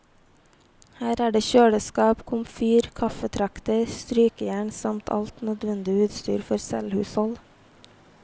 Her er det kjøleskap, komfyr, kaffetrakter, strykejern samt alt nødvendig utstyr for selvhushold.